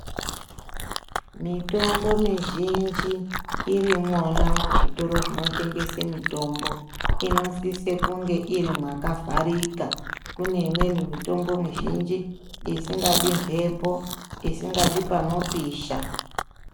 Mitombo mizhinji irimwona muzvitoro zvinotengese mitombo inosise kunge irimwakavharika kune imweni mitombo mizhinji isingadi mbepo isingadi panopisha.